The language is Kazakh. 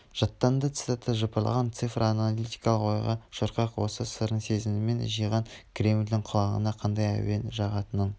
жаттанды цитата жыпырлаған цифр аналитикалық ойға шорқақ осы сырын сезісімен жиған кремльдің құлағына қандай әуен жағатынын